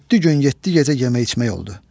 Yeddi gün, yeddi gecə yemək-içmək oldu.